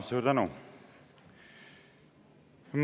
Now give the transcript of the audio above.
Suur tänu!